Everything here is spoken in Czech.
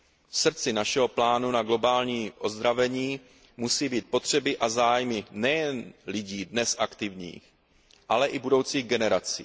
V srdci našeho plánu na globální ozdravení musí být potřeby a zájmy nejen lidí dnes aktivních, ale i budoucích generací.